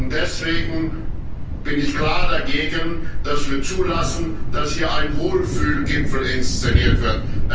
Und deswegen bin ich klar dagegen, dass wir zulassen, dass hier ein Wohlfühlgipfel inszeniert wird.